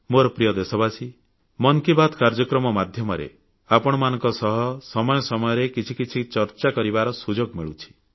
ମୋର ପ୍ରିୟ ଦେଶବାସୀଗଣ ମନ୍ କି ବାତ୍ କାର୍ଯ୍ୟକ୍ରମ ମାଧ୍ୟମରେ ଆପଣମାନଙ୍କ ସହ ସମୟ ସମୟରେ କିଛି କିଛି ଚର୍ଚ୍ଚା କରିବାର ସୁଯୋଗ ମିଳୁଛି